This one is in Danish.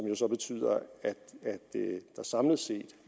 jo så betyder at der samlet set